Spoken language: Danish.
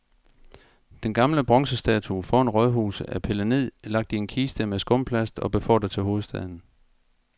Den gamle bronzestatue foran rådhuset er pillet ned, lagt i en kiste med skumplast og befordret til hovedstaden.